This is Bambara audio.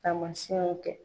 Taamasiyɛnw kɛ.